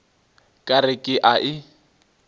ka re ke a e